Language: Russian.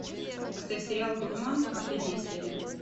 поставь сериал дурман последняя серия